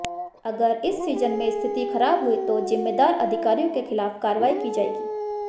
अगर इस सीजन में स्थिति खराब हुई तो जिम्मेदार अधिकारियों के खिलाफ कार्रवाई की जाएगी